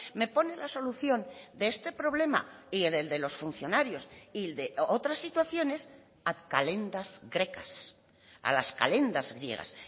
me pone la solución de este problema y del de los funcionarios y de otras situaciones a calendas grecas a las calendas griegas